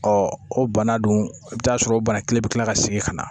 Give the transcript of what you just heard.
Ɔ o bana dun i bɛ t'a sɔrɔ bana kelen bɛ tila ka segin ka na